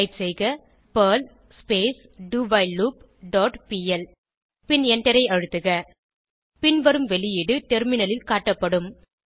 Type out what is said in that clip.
type செய்க perl do while loop dot pl பின் எண்டரை அழுத்துக பின்வரும் வெளியீடு டெர்மினலில் காட்டப்படும்